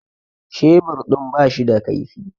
Shebur din ba shi da kaifi